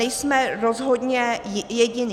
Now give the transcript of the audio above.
Nejsme rozhodně jediní.